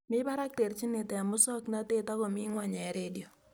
Mi barak terjinet eng musoknotet ako mii ng'ony eng redio